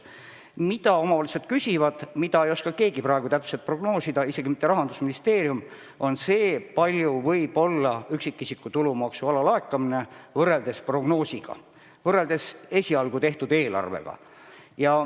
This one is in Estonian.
Mida omavalitsused küsivad ja mida ei oska keegi praegu täpselt prognoosida, isegi mitte Rahandusministeerium, on see, kui suur võib olla üksikisiku tulumaksu alalaekumine võrreldes esialgu tehtud eelarvega.